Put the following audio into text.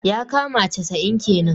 yakama casa'in kenan.